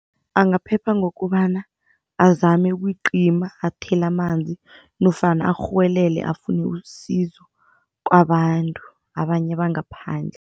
Angaphepha ngokobana azame ukuyiqima athele amanzi nofana arhuwelele afune isizo kwabantu, abanye bangaphandle.